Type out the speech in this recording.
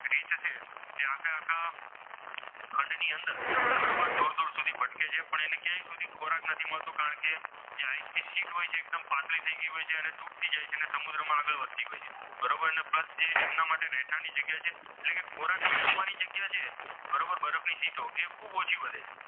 સુધી ખોરાક નથી મળતો કારણકે તે આઈસ ની sheet હોય છે તે પાતળી થઈ ગઈ હોય છે તે તૂટી જાય છે અને સમુદ્રમાં આગળ વધતી જાય છે બરોબર અને પ્લસ એમના માટે રહેઠાણની જગ્યા છે એટલે કે ખોરાક મેળવવાની જગ્યા જે છે બરોબર બરફની sheet એ ખૂબ જ ઓછી વધે છે.